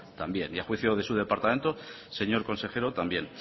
también y a juicio de su departamento señor consejero también